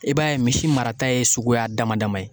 I b'a ye misi mara ta ye suguya dama dama ye.